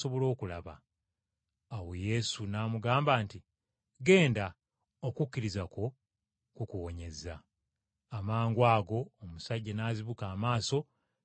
Awo Yesu n’amugamba nti, “Ggenda, okukkiriza kwo kukuwonyezza.” Amangwago omusajja n’azibuka amaaso, n’agoberera Yesu.